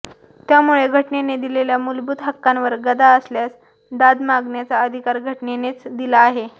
त्यामुळे घटनेने दिलेल्या मूलभूत हक्कांवर गदा आल्यास दाद मागण्याचा अधिकार घटनेनेच दिला आहे